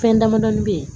Fɛn damadɔɔni bɛ yen